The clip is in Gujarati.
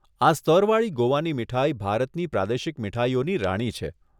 આ સ્તરવાળી ગોવાની મીઠાઈ ભારતની પ્રાદેશિક મીઠાઈઓની રાણી છે.